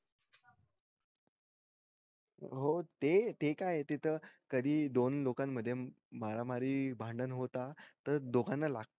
हो ते ते कायतेत कधी दोन लोकांन मध्ये मारामारी भांडण होतात त दोघांना लागत